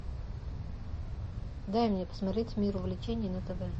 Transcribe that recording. дай мне посмотреть мир увлечений на тв